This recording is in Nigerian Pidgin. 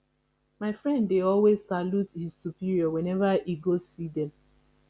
my friend dey always salute his superior whenever he go see them